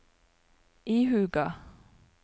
ihuga